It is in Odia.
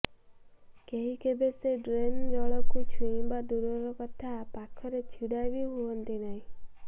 କେହି କେବେ ସେ ଡ୍ରେନ ଜଳକୁ ଛୁଇଁବା ଦୂରର କଥା ପାଖରେ ଛିଡା ବି ହୁଅନ୍ତି ନାହିଁ